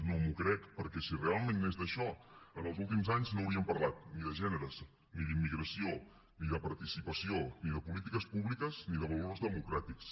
no m’ho crec perquè si realment anés d’això en els últims anys no hauríem parlat ni de gèneres ni d’immigració ni de participació ni de polítiques públiques ni de valors democràtics